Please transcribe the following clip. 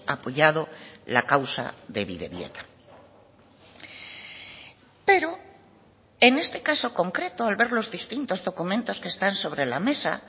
apoyado la causa de bidebieta pero en este caso concreto al ver los distintos documentos que están sobre la mesa